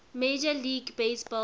major league baseball